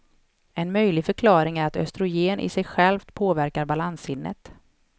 En möjlig förklaring är att östrogen i sig självt påverkar balanssinnet.